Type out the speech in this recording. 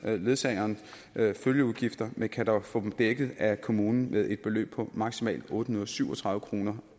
ledsagerens følgeudgifter men kan dog få dem dækket af kommunen med et beløb på maksimalt otte hundrede og syv og tredive kroner